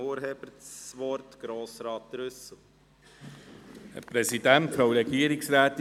Ich gebe dem Urheber, Grossrat Trüssel, das Wort.